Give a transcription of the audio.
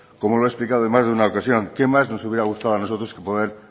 en más de una ocasión qué más nos hubiera gustado a nosotros que poder